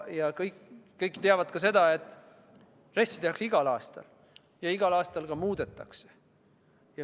Ja kõik teavad ka seda, et RES-i tehakse igal aastal ja igal aastal ka muudetakse.